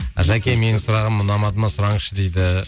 жәке менің сұрағым ұнамады ма сұраңызшы дейді